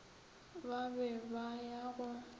ba be ba ya go